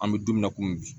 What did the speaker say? An bɛ don min na komi bi